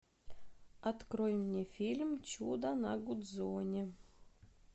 открой мне фильм чудо на гудзоне